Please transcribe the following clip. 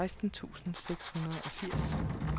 seksten tusind seks hundrede og firs